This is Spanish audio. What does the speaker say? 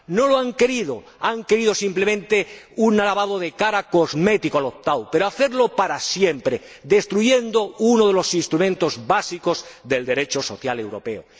No lo han querido, han querido simplemente hacerle un lavado de cara cosmético al opt out pero hacerlo para siempre, destruyendo uno de los instrumentos básicos del Derecho social europeo.